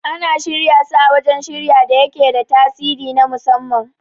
Ana shirya su a wajan shirya da yake da tasiri na musamman